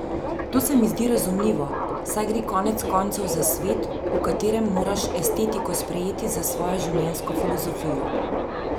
To se mi zdi razumljivo, saj gre konec koncev za svet, v katerem moraš estetiko sprejeti za svojo življenjsko filozofijo.